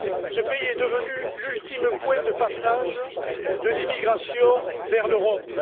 Ce pays est devenu l'ultime point de passage de l'immigration vers l'Europe.